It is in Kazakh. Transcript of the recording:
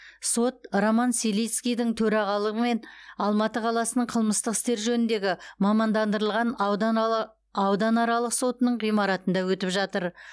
сот роман селицкийдің төрағалығымен алматы қаласының қылмыстық істер жөніндегі мамандандырылған ауданаралық сотының ғимаратында өтіп жатыр